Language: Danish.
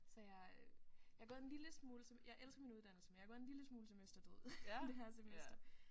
Så jeg øh jeg er gået en lille smule som jeg elsker min uddannelse men jeg er gået en lille smule semesterdød i det her semester